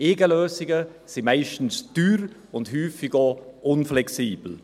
Eigenlösungen sind meist teuer und häufig auch unflexibel.